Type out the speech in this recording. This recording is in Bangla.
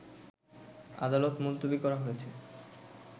আদালত মুলতবি করা হয়েছে